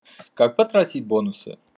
как потратить бонусы